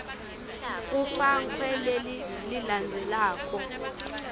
kufakwe leli lelilandzelako